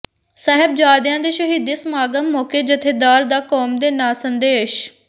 ਸਾਹਿਬਜ਼ਾਦਿਆ ਦੇ ਸ਼ਹੀਦੀ ਸਮਾਗਮ ਮੌਕੇ ਜਥੇਦਾਰ ਦਾ ਕੌਮ ਦੇ ਨਾਂ ਸੰਦੇਸ਼